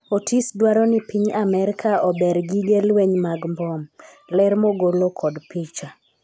Otis dwaro ni Piny Amerka ober gige lweny mag mbom, ler mogolo kod picha